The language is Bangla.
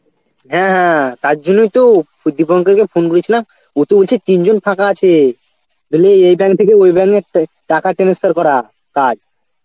হ্যাঁ হ্যাঁ তার জন্যই তো দীপঙ্কর কে ফোন করেছিলাম, ওতো বলছে তিনজন ফাঁকা আছে বলে এই bank থেকে ওই bank এ তো টাকা transfer করা কাজ.